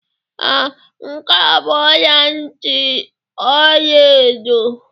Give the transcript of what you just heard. Ee, nke a bụ ọla ntị ọla edo